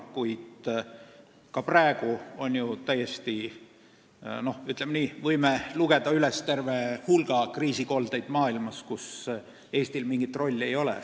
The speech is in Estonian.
Kuid ka praegu me võime lugeda üles terve hulga kriisikoldeid maailmas, kus Eestil mingit rolli ei ole.